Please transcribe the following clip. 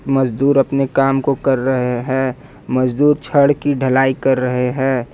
मजदूर अपने काम को कर रहे हैं मजदूर छड़ की ढलाई कर रहे हैं।